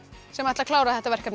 sem ætla að klára þetta verkefni